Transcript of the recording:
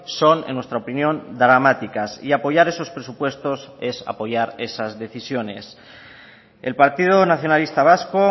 son en nuestra opinión dramáticas y apoyar esos presupuestos es apoyar esas decisiones el partido nacionalista vasco